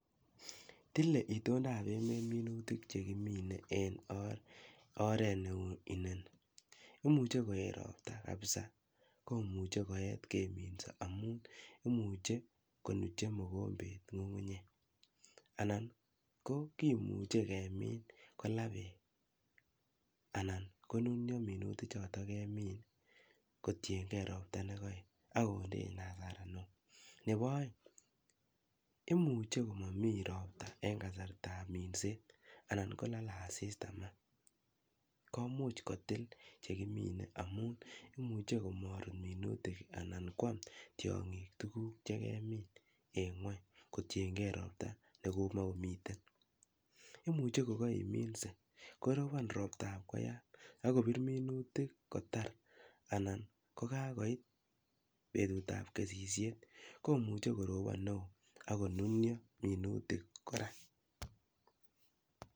Tile itondab emeet minuutik chekimine en oret neu inoni. Imuche koyeet roptaa kabsaa komuche koyeet keminsoo, amun imuche konuche. Anan ko kimuche kemin kolaa berk, anan konunyoo minuutichoton kemiin, kotienge roptaa nekoyeet ak kondein hasara. Nebo oeng, imuche komomii roptaa en kasartaab minset anan kolole asista komuch kotil minutik, koimuch komoruryoo minutik anan kwam tiong'iik tuguk kotiengee roptaa nekomokomiten. Ana koimuche kokeriminsee korobon roptab koyaat, kobiir minutik kotar anan ko kakoit betutab kesisiet, komoche korobon neo ako nunio minutiik kora.